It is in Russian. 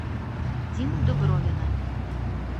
диму дубровина